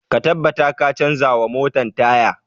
Ka tabbata ka canza wa motan taya!